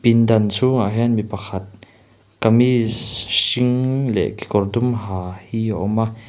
dan chhungah hian mi pakhat kamis hring leh kekawr dum ha hi a awm a.